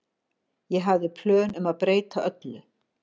Ég hafði plön um að breyta öllu.